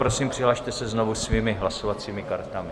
Prosím, přihlaste se znovu svými hlasovacími kartami.